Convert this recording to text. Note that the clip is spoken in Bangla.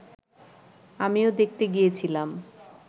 আমিও দেখতে গিয়েছিলাম